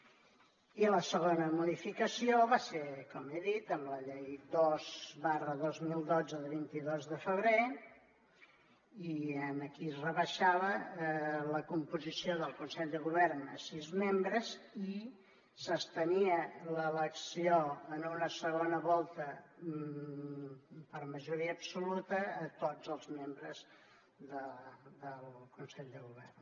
i la segona modificació va ser com he dit amb la llei dos dos mil dotze de vint dos de febrer i aquí es rebaixava la composició del consell de govern a sis membres i s’estenia l’elecció en una segona volta per majoria absoluta a tots els membres del consell de govern